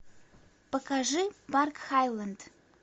покажи парк хайленд